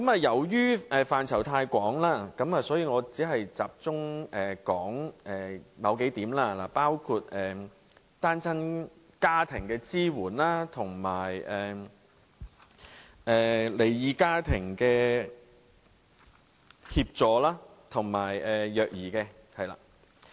由於涉及的範疇太廣，所以我只會集中說數點，包括對單親家庭和離異家庭的支援，以及虐兒方面。